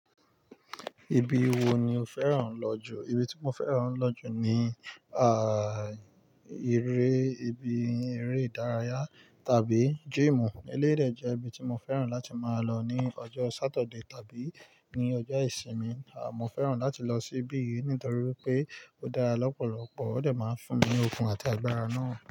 Ibi wo ni o fẹ́ràn lọ jù? Ibi tí mo fẹ́ràn lọ jù ni, à, eré, ibi eré ìdárayá tàbí gym. Elé dè jẹ́ ibi tí mo fẹ́ràn láti máa lọ ní ọjọ́ Saturday tàbí ní ọjọ́ ìsinmi. À, mo fẹ́ràn láti lọ síbí nítorí pé ó dára lọ́pọ̀lọpọ̀, ó dẹ̀ máa ń fún mi ní okun àti agbára náà.